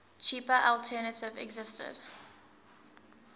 cheaper alternative existed